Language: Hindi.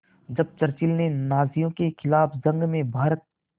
जब चर्चिल ने नाज़ियों के ख़िलाफ़ जंग में भारत